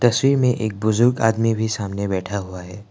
तस्वीर में एक बुजुर्ग आदमी भी सामने बैठा हुआ है।